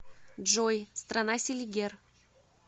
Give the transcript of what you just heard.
джой страна селигер